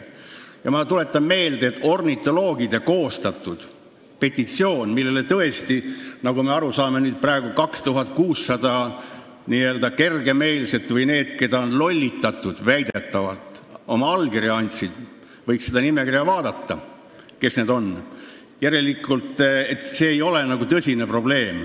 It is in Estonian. Ma tuletan meelde, et ornitoloogid koostasid selle petitsiooni, millele, nagu me aru saime, andsid oma allkirja 2600 n-ö kergemeelset või need, keda on väidetavalt lollitatud , ja järelikult ei ole see nagu tõsine probleem.